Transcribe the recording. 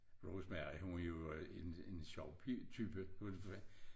Rosemary hun var jo en en sjov type